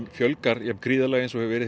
fjölgar jafn gríðarlega og hefur verið